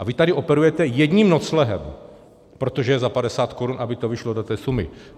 A vy tady operujete jedním noclehem, protože je za 50 korun, aby to vyšlo do té sumy.